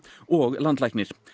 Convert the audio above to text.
og landlæknir